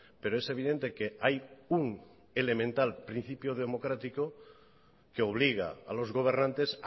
pero es evidente que hay un elemental principio democrático que obliga a los gobernantes